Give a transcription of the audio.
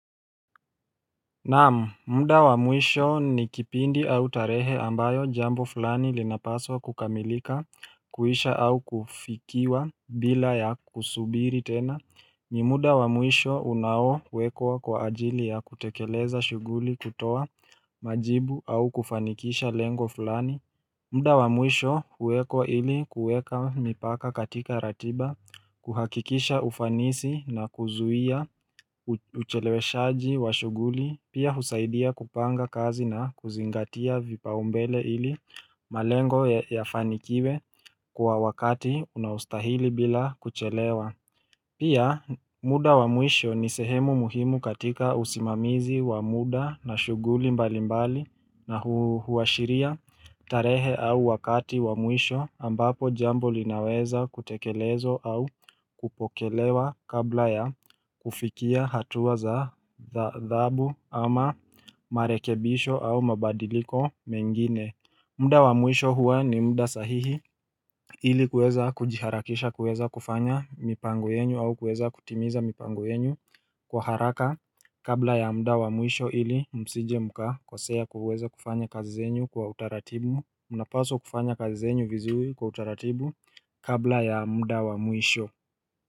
Naam, muda wa mwisho ni kipindi au tarehe ambayo jambo fulani linapaswa kukamilika kuisha au kufikiwa bila ya kusubiri tena ni muda wa mwisho unao wekwa kwa ajili ya kutekeleza shuguli kutoa majibu au kufanikisha lengo fulani muda wa mwisho huwekwa ili kuweka mipaka katika ratiba, kuhakikisha ufanisi na kuzuia, ucheleweshaji wa shughuli, pia husaidia kupanga kazi na kuzingatia vipaumbele ili malengo yafanikiwe kwa wakati unaostahili bila kuchelewa. Pia muda wa mwisho ni sehemu muhimu katika usimamizi wa muda na shughuli mbali mbali na huashiria tarehe au wakati wa mwisho ambapo jambo linaweza kutekelezwa au kupokelewa kabla ya kufikia hatuwa za dhabu ama marekebisho au mabadiliko mengine muda wa mwisho huwa ni mda sahihi ili kuweza kujiharakisha kuweza kufanya mipango yenyu au kuweza kutimiza mipango yenyu kwa haraka kabla ya muda wa mwisho ili msije mukakosea kuweza kufanya kazi zenyu kwa utaratibu mnapaso kufanya kazi zenyu vizuri kwa utaratibu kabla ya mda wa muisho.